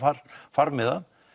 farmiða